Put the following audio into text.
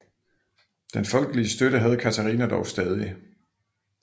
Den folkelige støtte havde Katharina dog stadig